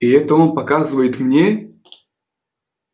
и это он показывает мне